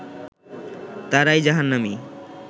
তারাই জাহান্নামি